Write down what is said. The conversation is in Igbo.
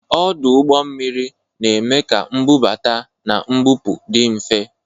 Ọdụ ụgbọ mmiri na-eme ka mbubata na mbupụ dị mfe